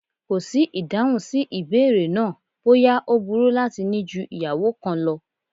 Kò sí ìdáhùn sí ìbéèrè náà bóyá ó burú láti ní ju ìyàwó kan lọ